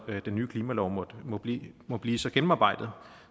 den nye klimalov må blive må blive så gennemarbejdet